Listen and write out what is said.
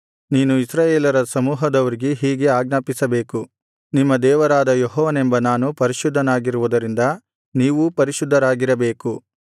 ನೀನು ಇಸ್ರಾಯೇಲರ ಸಮೂಹದವರಿಗೆ ಹೀಗೆ ಆಜ್ಞಾಪಿಸಬೇಕು ನಿಮ್ಮ ದೇವರಾದ ಯೆಹೋವನೆಂಬ ನಾನು ಪರಿಶುದ್ಧನಾಗಿರುವುದರಿಂದ ನೀವೂ ಪರಿಶುದ್ಧರಾಗಿರಬೇಕು